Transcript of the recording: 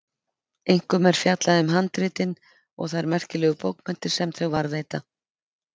Einkum er fjallað um handritin og þær merkilegu bókmenntir sem þau varðveita.